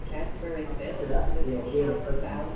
Af hverju ætti ég að gera börnunum það?